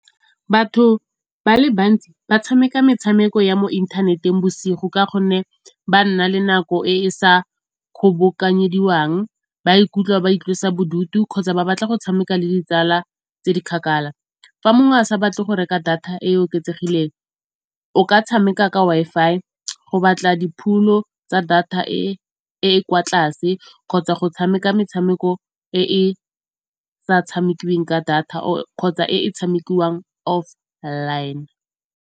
Batho ba le bantsi ba tshameka metshameko ya mo inthaneteng bosigo ka gonne ba nna le nako e e sa kgobokanyediwang. Ba ikutlwa ba itlosa bodutu kgotsa ba batla go tshameka le ditsala tse di kgakala, fa mongwe a sa batle go reka data e e oketsegileng o ka tshameka ka Wi-Fi go batla di phulo tsa data e e kwa tlase kgotsa go tshameka metshameko e e sa tshamekiweng ka data kgotsa e e tshamekiwang offline.